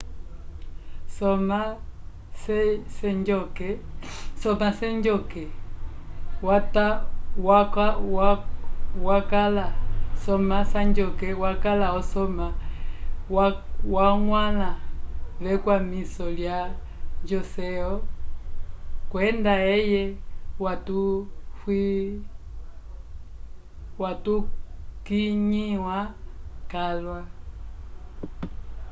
soma sejong wakala osoma wakwãla vekwamiso ya joseon kwenda eye wakulĩhiwa calwa